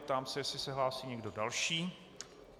Ptám se, jestli se hlásí někdo další.